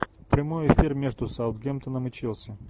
прямой эфир между саутгемптоном и челси